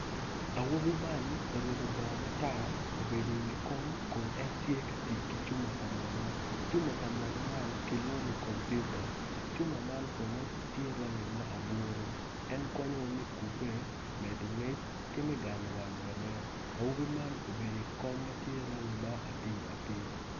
Co aryo co man gitye i yeya dok gin gitye ka mako rec gin gitye ka tic ki goli ma odone tye mabit kun giyuto ki rec piny i kabedo man tye ma ocidde dok tye otyeno mapol tye ka nen makwar kun tye dero pa deng madong tye kutyeno ma ceng opoto woko.